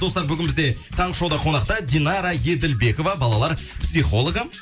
достар бүгін бізде таңғы шоуда қонақта динара еділбекова балалар психологы